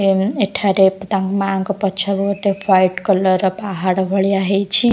ଏବଂ ଏଠାରେ ତାଙ୍କ ମାଙ୍କ ପଛକୁ ଗୋଟେ ହ୍ୱାଇଟ୍ କଲର୍ ର ପାହାଡ଼ ଭଳିଆ ହେଇଛି ।